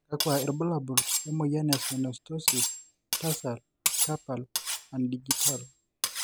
kakua irbulabol lena moyian e Synostoses, tarsal, carpal, and digital?